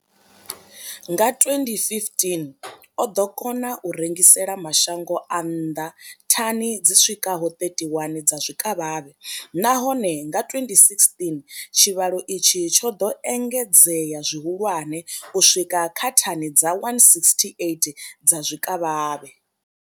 Nga 2015, o ḓo kona u rengisela mashango a nnḓa thani dzi swikaho 31 dza zwikavhavhe, nahone nga 2016 tshivhalo itshi tsho ḓo engedzea zwihulwane u swika kha thani dza 168 dza zwikavhavhe.